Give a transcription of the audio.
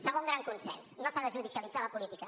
segon gran consens no s’ha de judicialitzar la política